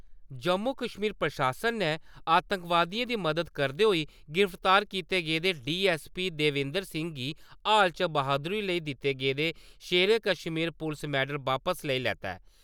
जम्मू-कश्मीर प्रशासन ने आतंकवादियें दी मदद करदे होई गिरफ्तार कीते गेदे डीएसपी देविंदर सिंह गी हाल च बहादुरी लेई दित्ता गेदा शेरे कश्मीर पुलस मैडल वापस लेई लैता ऐ।